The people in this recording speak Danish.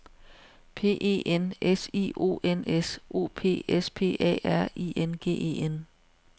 P E N S I O N S O P S P A R I N G E N